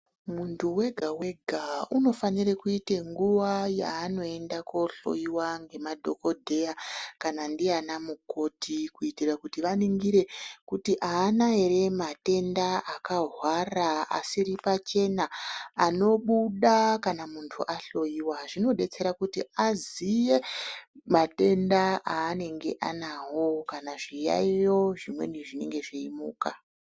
Muntu wega wega ,unofanire kuite nguva yaanoenda kohloriwa ngemadhogodheya kana ndiana mukoti kuitira kuti vaningire kuti haana here matenda akahwanda asiri pachena ,anobuda kana muntu wahloyiwa. Zvinodetsera kuti aziye mar tenda aanenge ayinawo kana zviyayiyo zvimweni zvinenge zviyimuka.